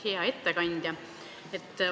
Hea ettekandja!